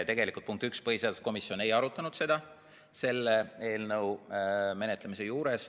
Tegelikult, punkt üks: põhiseaduskomisjon ei arutanud seda selle eelnõu menetlemisel.